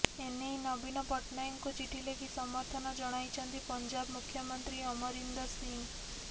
ଏନେଇ ନବୀନ ପଟ୍ଟନାୟକଙ୍କୁ ଚିଠି ଲେଖି ସମର୍ଥନ ଜଣାଇଛନ୍ତି ପଞ୍ଜାବ ମୁଖ୍ୟମନ୍ତ୍ରୀ ଅମରିନ୍ଦର ସିଂହ